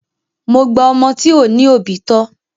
Mo gba ọmọ tí ò ní òbí tọ.